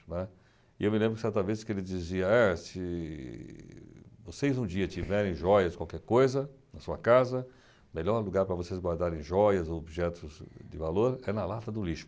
né. E eu me lembro que certa vez que ele dizia, é, se vocês um dia tiverem jóias, qualquer coisa na sua casa, o melhor lugar para vocês guardarem jóias ou objetos de valor é na lata do lixo.